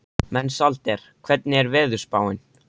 Mensalder, hvernig er veðurspáin?